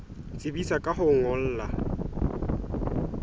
tsebisa ka ho o ngolla